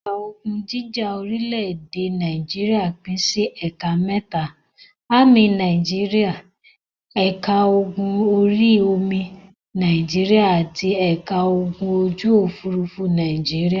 Ẹ̀ka ogun jíjà orílẹ̀-èdè Nàìjíríà pín sí ẹ̀ka mẹ́ta; Ámì Nàìjíríà, ẹ̀ka ogun orí-omi Nàìjíríà àti ẹ̀ka ogun ojú-òfurufú Nàìjíríà.